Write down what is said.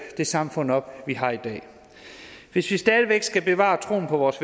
det samfund op vi har i dag hvis vi stadig væk skal bevare troen på vores